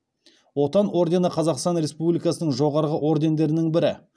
отан ордені қазақстан республикасының жоғарғы ордендерінің бірі